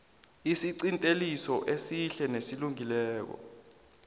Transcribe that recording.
isiqinteliso esihle nesilungileko